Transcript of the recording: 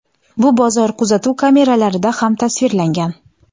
Bu bozor kuzatuv kameralarida ham tasvirlangan.